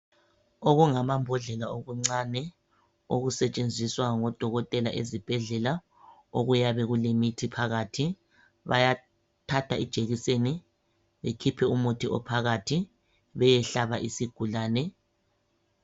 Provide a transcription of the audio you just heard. Okungamambodlela okuncane okusetshenziswa ngodokotela ezibhedlela okuyabe kulemithi phakathi, bayathatha ijekiseni bekhiphe umuthi ophakathi beyehlaba isigulane.